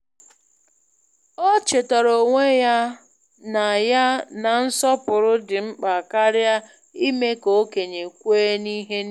“O chetara onwe ya na ya na nsọpụrụ dị mkpa karịa ime ka okenye kwee n’ihe niile.